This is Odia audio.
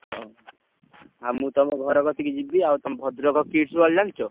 ହଁ ଆଉ ମୁଁ ତମ ଘର କତିକି ଯିବି ଆଉ ତମ ଭଦ୍ରକ Kids World ଜାଣିଚ?